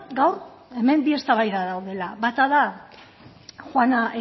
gaur hemen bi eztabaida daudela bata da juana